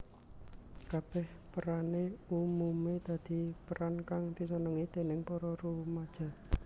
Kabèh perané umumé dadi peran kang disenengi déning para rumaja